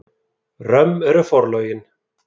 Römm eru forlögin.